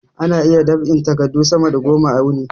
Ana iya dab'in takadu sama da goma a wuni